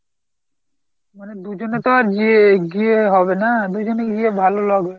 মানে দুজনে আর জিয়ে গিয়ে হবে না, দুজনে গিয়ে ভালো লাগবে না।